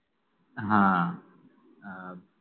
अह